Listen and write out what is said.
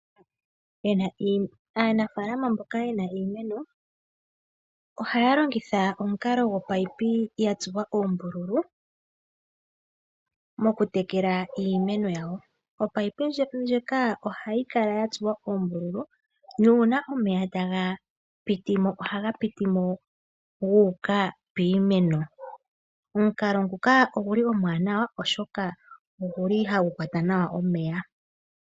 Aanafalama mboka yena iimeno, ohayalongitha omukalo gwopayipi yatsuwa oombululu mokutekela iimeno yawo. Opayipi ndjika ohayi kala yatsuwa uumbululu opo omeya gapitemo guuka piimeno, omukalo nguka omwaanawa oshoka oha gu kwata nawa omeya.